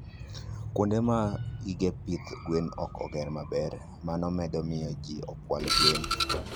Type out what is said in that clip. Kuonde ma gige pidho gwen ok oger maber, mano medo miyo ji okwal gwen.